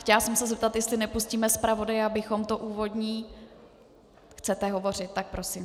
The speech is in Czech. Chtěla jsem se zeptat, jestli nepustíme zpravodaje, abychom to úvodní - Chcete hovořit, tak prosím.